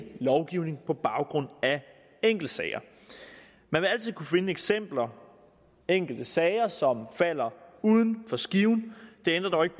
lovgivning på baggrund af enkeltsager man vil altid kunne finde eksempler enkelte sager som falder uden for skiven det ændrer dog ikke